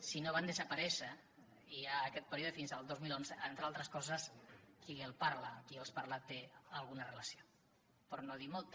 si no van desaparèixer i hi ha aquest període fins al dos mil onze entre altres coses qui li parla qui els parla hi té alguna relació per no dir molta